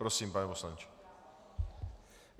Prosím, pane poslanče.